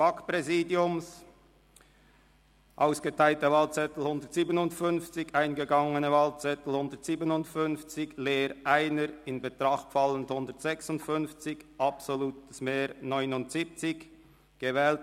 Bei ausgeteilten 157 und 157 eingegangenen Wahlzetteln, wovon 1 leer und ungültig 0, in Betracht fallend 156, wird bei einem absoluten Mehr von 79 gewählt: